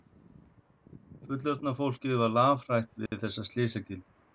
Fullorðna fólkið var lafhrætt við þessa slysagildru.